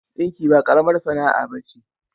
Ɗinki ba ƙaramar sana'a ba ce.